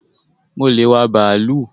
Mo le wá bàálù